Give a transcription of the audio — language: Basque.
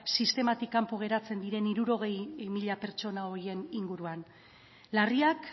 sistematik kanpo geratzen diran hirurogei mila pertsona horien inguruan larriak